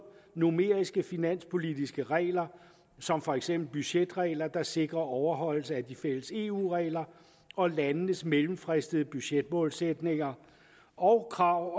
numeriske finanspolitiske regler som for eksempel budgetregler der sikrer overholdelse af de fælles eu regler og landenes mellemfristede budgetmålsætninger og krav